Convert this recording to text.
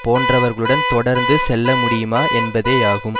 போன்றவர்களுடன் தொடர்ந்து செல்ல முடியுமா என்பதேயாகும்